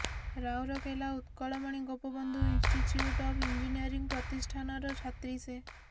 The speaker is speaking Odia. Rourkela Utkalmani Gopabandhu institute of engineering ପ୍ରତିଷ୍ଠାନର ଛାତ୍ରୀ ସେ